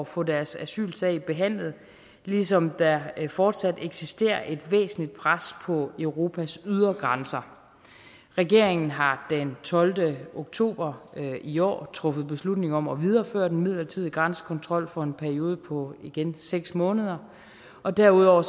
få deres asylsag behandlet ligesom der fortsat eksisterer et væsentligt pres på europas ydre grænser regeringen har den tolvte oktober i år truffet beslutning om at videreføre den midlertidige grænsekontrol for en periode på igen seks måneder og derudover